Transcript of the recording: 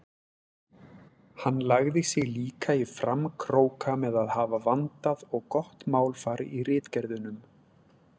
Hann lagði sig líka í framkróka með að hafa vandað og gott málfar í ritgerðunum.